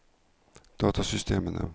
datasystemene